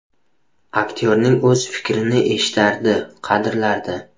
Aktyorning o‘z fikrini eshitardi, qadrlardi.